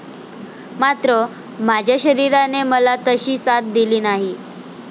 मात्र, माझ्या शरीराने मला तशी साथ दिली नाही.